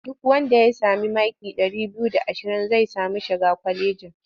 Duk wanda ya sami maki ɗari biyu da ashirin zai sami shiga kwalejin.